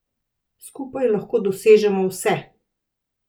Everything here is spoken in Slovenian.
Skupaj lahko dosežemo vse!